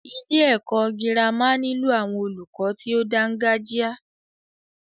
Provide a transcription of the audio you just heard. Ilé ẹ̀kọ́ gírámà nílò àwọn olùkọ tí o dáńgájia.